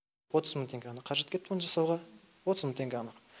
отыз мың теңге ғана қаражат кетті мұны жасауға отыз мың теңге ғана